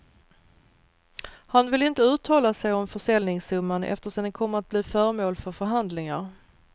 Han vill inte uttala sig om försäljningssumman eftersom den kommer att bli föremål för förhandlingar.